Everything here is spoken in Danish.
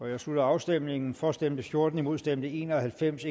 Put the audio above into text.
jeg slutter afstemningen for stemte fjorten imod stemte en og halvfems